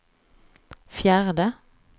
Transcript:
fjärde